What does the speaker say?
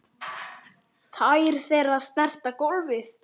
Tær þeirra snerta gólfið.